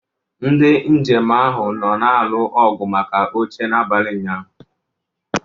Ndị njem ahụ nọ na-alụ ọgụ maka oche n'abalị ụnyahụ.